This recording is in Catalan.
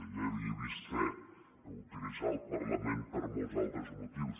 ja ho he vist fer utilitzar el parlament per a molts altres motius